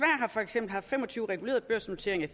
har for eksempel haft fem og tyve regulerede børsnoteringer